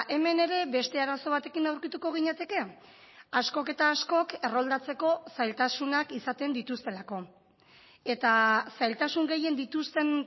hemen ere beste arazo batekin aurkituko ginateke askok eta askok erroldatzeko zailtasunak izaten dituztelako eta zailtasun gehien dituzten